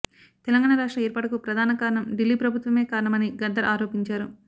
తెలంగాణ రాష్ట్ర ఏర్పాటుకు ప్రధాన కారణం ఢిల్లీ ప్రభుత్వమే కారణం అని గద్దర్ ఆరోపించారు